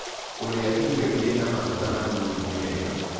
Kũrĩa irio ĩrĩ na magũta manĩnĩ nĩ wega